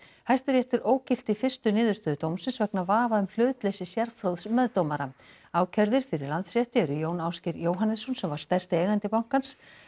Hæstiréttur ógilti fyrstu niðurstöðu dómsins vegna vafa um hlutleysi sérfróðs meðdómara ákærðir fyrir Landsrétti eru Jón Ásgeir Jóhannesson sem var stærsti eigandi bankans